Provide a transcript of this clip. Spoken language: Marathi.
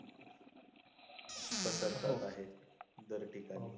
पसरतात आहेत दर ठिकाणी .